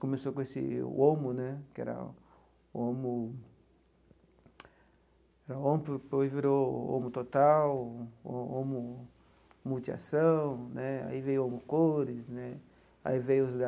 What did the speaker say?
Começou com esse o omo né que era omo, que virou omo total, omo multiação né, aí veio o cores né, aí veio os da